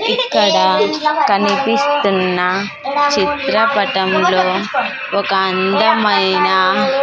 ఇక్కడ కనిపిస్తున్న చిత్రపటంలో ఒక అందమైన--